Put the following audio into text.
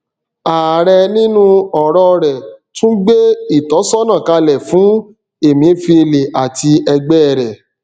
ààrẹ nínú ọrọ rẹ tún gbé ìtọsọnà kalẹ fún emefiele àti ẹgbẹ rẹ